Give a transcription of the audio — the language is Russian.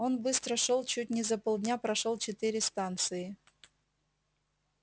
он быстро шёл чуть не за полдня прошёл четыре станции